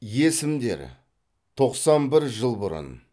есімдер тоқсан бір жыл бұрын